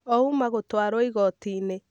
Ouma gũtwarwo Igotiinĩ